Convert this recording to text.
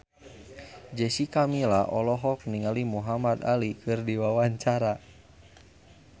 Jessica Milla olohok ningali Muhamad Ali keur diwawancara